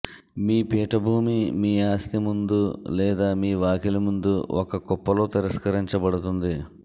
మీ పీఠభూమి మీ ఆస్తి ముందు లేదా మీ వాకిలి ముందు ఒక కుప్ప లో తిరస్కరించబడుతుంది